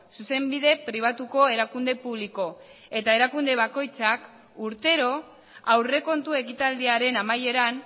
zuzenbide pribatuko erakunde publiko eta erakunde bakoitzak urtero aurrekontu ekitaldiaren amaieran